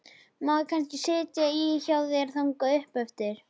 Má ég kannski sitja í hjá þér þangað upp eftir?